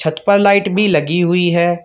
छत पर लाइट भी लगी हुई है।